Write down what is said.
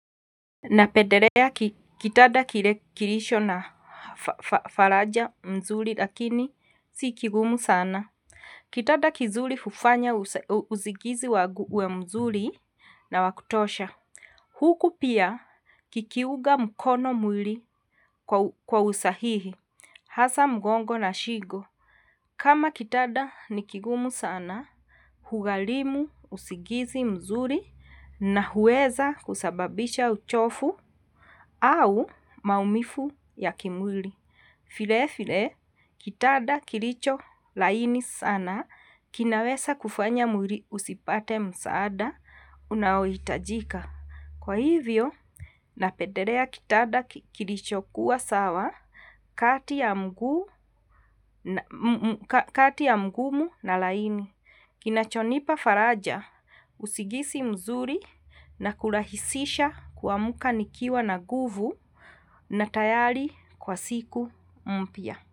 Na pendelea kitanda kilicho na faraja mzuri lakini si kigumu sana. Kitanda kizuri hufanya usingizi wangu uwe mzuri na wakutosha. Huku pia kikiunga mkono mwili kwa usahihi. Hasa mgongo na shingo. Kama kitanda ni kigumu sana. Hugharimu usingizi mzuri na huweza kusababisha uchovu. Au maumivu ya kimwili. Vile vile, kitanda kilicho laini sana kinaweza kufanya usipate msaada unaohitajika. Kwa hivyo na pendelea kitanda kilicho kuwa sawa, kati ya mgumu na laini. Kinachonipa faraja, usingizi mzuri na kurahisisha kuamka nikiwa na nguvu na tayari kwa siku mpya.